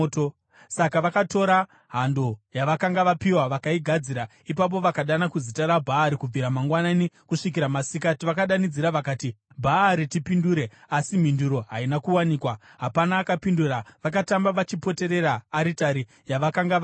Saka vakatora hando yavakanga vapiwa vakaigadzira. Ipapo vakadana kuzita raBhaari kubvira mangwanani kusvikira masikati. Vakadanidzira vakati, “Bhaari, tipindure!” Asi mhinduro haina kuwanikwa; hapana akapindura. Vakatamba vachipoterera aritari yavakanga vaita.